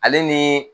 Ale ni